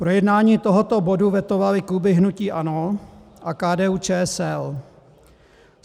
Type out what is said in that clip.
Projednání tohoto bodu vetovaly kluby hnutí ANO a KDU-ČSL.